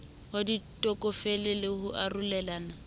wa ditokofele le ho arolelana